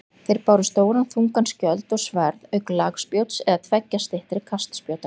Þeir báru stóran þungan skjöld og sverð auk lagspjóts eða tveggja styttri kastspjóta.